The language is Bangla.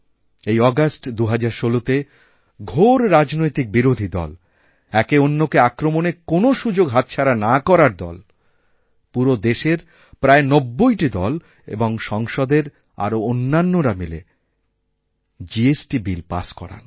এই অগাস্ট ২০১৬তে ঘোর রাজনৈতিক বিরোধী দল একে অন্যকেআক্রমণের কোনও সুযোগ হাতছাড়া না করা দল পুরো দেশের প্রায় নব্বইটি দল ও সংসদের আরওঅন্যান্যরা মিলে জিএসটি বিল পাস্ করান